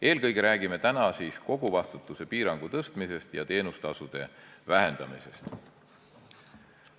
Eelkõige räägime koguvastutuse piirangu tõstmisest ja teenustasude vähendamisest.